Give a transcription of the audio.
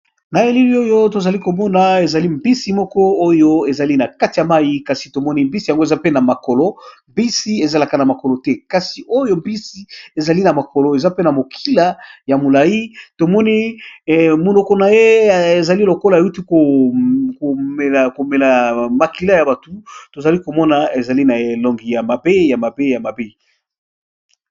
Na eleli oyo tozali komona ezali mbisi moko oyo ezali na kati ya mai kasi tomoni mbisi yango eza pe na makolo mbisi ezalaka na makolo te kasi oyo mbisi ezali na mokolo eza pe na mokila ya molai tomoni monoko na ye ezali lokola euti komela mokila ya batu tozali komona ezali na elongi ya mabe ya mab ya mabe.